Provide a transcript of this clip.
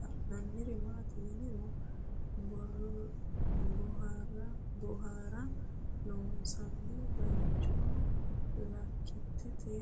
la'nanniri maattiya yinummoro boohararra loonsoonni bayiichcho lakkittette